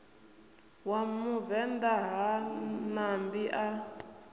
wa muvenḓa ha ṋambi a